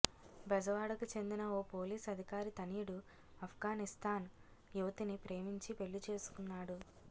బెజవాడకు చెందిన ఓ పోలీస్ అధికారి తనయుడు అప్ఘానిస్థాన్ యువతిని ప్రేమించి పెళ్లి చేసుకున్నాడు